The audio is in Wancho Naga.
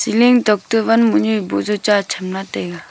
ceiling tokta van mohnyu ee boh jao cha chamla taiga.